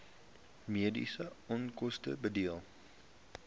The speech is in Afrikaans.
mediese onkoste dele